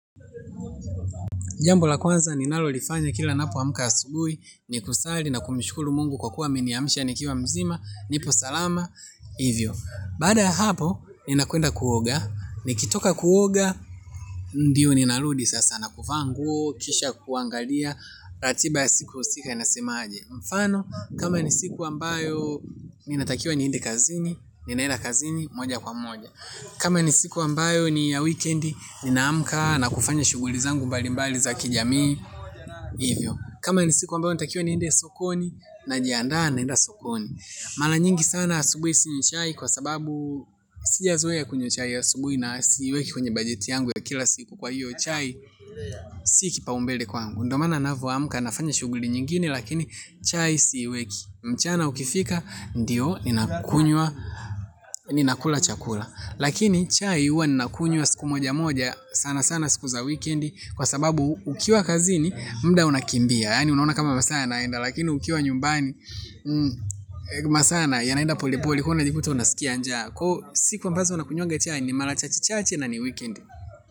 Jambo la kwanza ninalolifanya kila ninapo amka asubuhi ni kusali na kumshukuru mungu kwa kuwa ameniamsha nikiwa mzima nipo salama hivyo. Baada ya hapo ninakwenda kuoga nikitoka kuoga ndiyo ninarudi sasa na kuvaa nguo kisha kuangalia ratiba ya siku husika ina semaje. Mfano kama ni siku ambayo ninatakiwa niende kazini ninaeda kazini moja kwa moja. Kama ni siku ambayo ni ya wikendi, ninaamka na kufanya shughuli zangu mbali mbali za kijamii hivyo. Kama ni siku ambayo natakiwa niende sokoni najiandaa naenda sokoni. Mara nyingi sana asubuhi sinywi chai kwa sababu sija zoea kunywa chai ya asubuhi na siweki kwenye bajeti yangu ya kila siku kwa hiyo chai. Si kipaumbele kwangu. Ndo mana navyo amka nafanya shughuli nyingini lakini chai siweki. Mchana ukifika ndiyo ninakunywa, ninakula chakula. Lakini chai huwa ninakunywa siku moja moja sana sana siku za wikendi kwa sababu ukiwa kazini muda unakimbia. Yani unaona kama masaa yanaenda. Lakini ukiwa nyumbani masaa yanaenda polepole. Ka una jikuta unasikia njaa. Siku ambazo nakunywanga chai ni mara chachechache na ni wikendi.